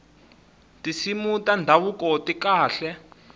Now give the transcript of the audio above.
tinsimu ta ndhavuko ti kahle